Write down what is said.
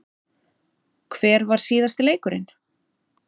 Hver var síðasti leikurinn?